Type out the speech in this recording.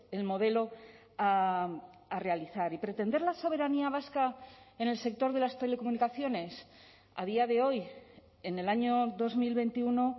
el modelo a realizar y pretender la soberanía vasca en el sector de las telecomunicaciones a día de hoy en el año dos mil veintiuno